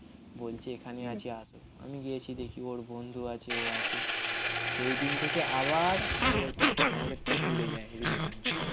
বলছি এখানেই আছি আসো. আমি গিয়েছি দেখি ওর বন্ধু আছে ও আছে. সেইদিন থেকে আবার আমাদের সাথে আমাদেরটা জুড়ে যায় রিলেসান টা